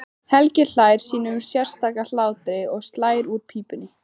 Helgi hlær sínum sérstaka hlátri og slær úr pípunni.